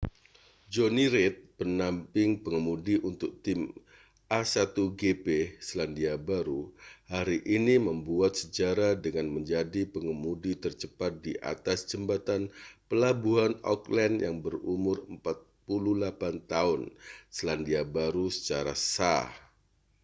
jonny reid pendamping pengemudi untuk tim a1gp selandia baru hari ini membuat sejarah dengan menjadi pengemudi tercepat di atas jembatan pelabuhan auckland yang berumur 48 tahun selandia baru secara sah